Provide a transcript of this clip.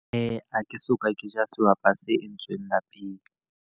Ha ke soka ke ja sehwapa se entsweng lapeng.